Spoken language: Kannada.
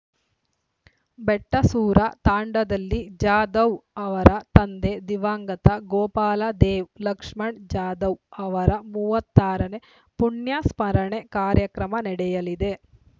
ಬೆಟಸೂರ ತಾಂಡಾದಲ್ಲಿ ಜಾಧವ್‌ ಅವರ ತಂದೆ ದಿವಂಗತ ಗೋಪಾಲದೇವ್‌ ಲಕ್ಷ್ಮಣ್‌ ಜಾಧವ್‌ ಅವರ ಮೂವತ್ತಾರನೇ ಪುಣ್ಯಸ್ಮರಣೆ ಕಾರ್ಯಕ್ರಮ ನಡೆಯಲಿದೆ